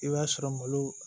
I b'a sɔrɔ malo